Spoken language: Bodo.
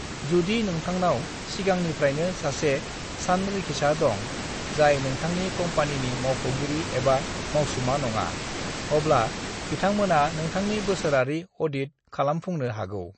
"जुदि नोंथांनाव सिगांनिफ्रायनो सासे सानरिखिसा दं, जाय नोंथांनि कम्पानिनि मावख'गिरि एबा मावसुमा नङा, अब्ला बिथांमोना नोंथांनि बोसोरारि अ'डिट खालामफुंनो हागौ।"